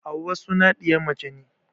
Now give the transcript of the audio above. Hauwa suna ɗiya mace ne